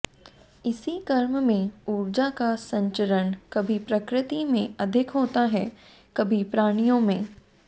इसी क्रम में ऊर्जा का संचरण कभी प्रकृति में अधिक होता है कभी प्राणियों में